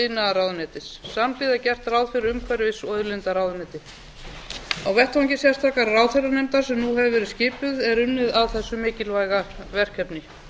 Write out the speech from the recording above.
iðnaðarráðuneytis samhliða er gert ráð fyrir umhverfis og auðlindaráðuneytis á vettvangi sérstakrar ráðherranefndar sem nú hefur verið skipuð er unnið að þessu mikilvæga verkefni